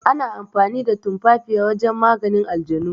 Ana amfani da tumafafiya wajen maganin aljanu.